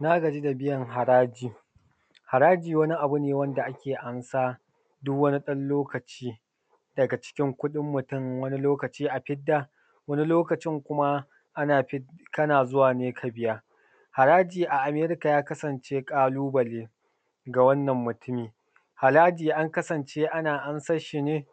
Na gaji da biyan haraji. Haraji wani abu ne wanda ake amsa duk wani ɗan lokaci daga cikin kuɗin mutum, wani lokaci a fidda wani lokacin kuma ana fidda, kana zuwa ne ka biya haraji a Amerika ya kasance ƙalubale ga wannan mutumin, haraji na kasance ana amsan shi ne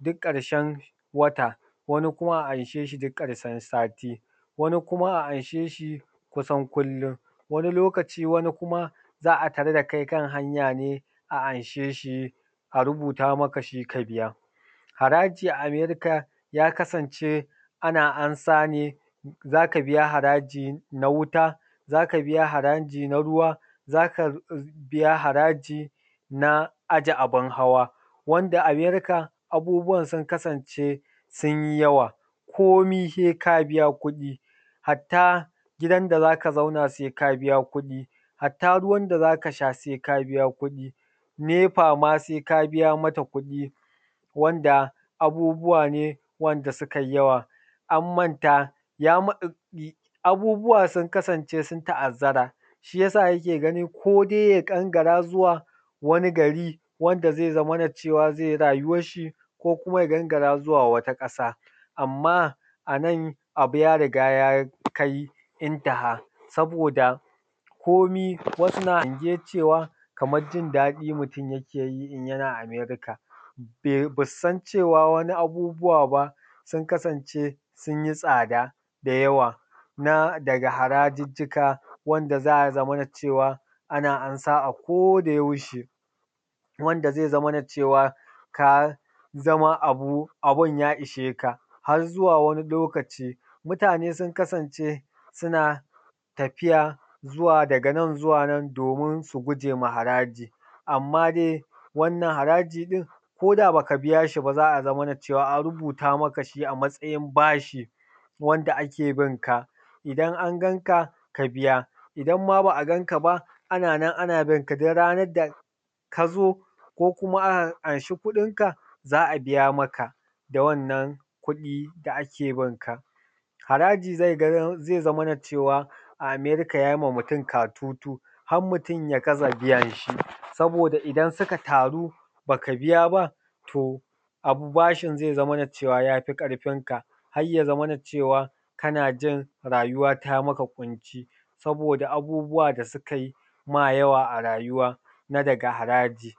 duk ƙarshen wata, wani kuma ana anshe shi duk ƙarshen sati, wani kuma ana anshe shi kusan kullum. Wani lokaci wani kuma za a tarar da kai kan hanya ne a anshe shi, a rubuta maka shi ka biya haraji, a Amerika ya kasance ana ansa ne za ka biya haraji na wuta, za ka biya haraji na ruwa, za ka biya haraji na aje abun hawa wanda Amerika abubuwan sun kasance sun yi yawa ko mai sai ka biya kuɗi, hatta gidan da za ka zauna sai ka biya kuɗi, hatta ruwan da za ka sha sai ka biya kuɗi, nepa ma sai ka biya mata kuɗi wanda abubuwa ne wanda su kai yawa an manta ya manta abubuwa sun kasance sun ta’azzara shi ya sa yake gani kodai ya gangara zuwa wani gari wanda zai zamana cewa zai yi rayuwanshi ko kuma ya gangara zuwa wata ƙasa. Amma a nan abu ya riga ya kai intaha saboda komai wasu na iya cewa kamar jindaɗi mutum yake yi in yana Amerika ba su san cewa wani abubuwa ba sun kasance sun yi tsada da yawa na daga harajujjuka wanda za ya zaman cewa ana amsa akodayaushe wanda zai zamana cewa ka zama abu abun ya isheka har zuwa wani lokaci. Mutane sun kasance suna tafiya zuwa daga nan zuwa nan domin su gujewa haraji, amma dai wannan haraji ɗin ko da baka biya shi ba za a zaman cewa an rubuta maka shi a matsayin bashi wanda ake bin ka, idan an ganka ka biya idan ma ba a ganka ba ana nan ana bin ka, duk ranan da ka zo ko kuma ka anshi kuɗin ka za a biya maka da wannan kuɗi da ake bin ka. Haraji zai zamana cewa a Amerika ya yi ma mutum katutu har mutum ya gaza biyan shi saboda idan suka taru ba ka biya ba to abu bashin zai zamana cewa ya fi karfinka har ya zamana cewa kana jin rayuwa ta maka ƙunci saboda abubuwa da sukai ma yawa a rayuwa na daga haraji.